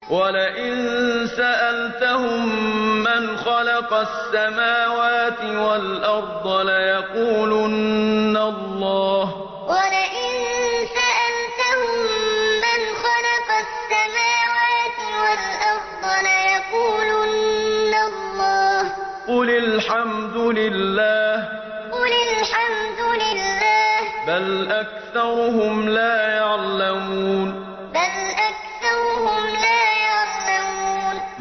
وَلَئِن سَأَلْتَهُم مَّنْ خَلَقَ السَّمَاوَاتِ وَالْأَرْضَ لَيَقُولُنَّ اللَّهُ ۚ قُلِ الْحَمْدُ لِلَّهِ ۚ بَلْ أَكْثَرُهُمْ لَا يَعْلَمُونَ وَلَئِن سَأَلْتَهُم مَّنْ خَلَقَ السَّمَاوَاتِ وَالْأَرْضَ لَيَقُولُنَّ اللَّهُ ۚ قُلِ الْحَمْدُ لِلَّهِ ۚ بَلْ أَكْثَرُهُمْ لَا يَعْلَمُونَ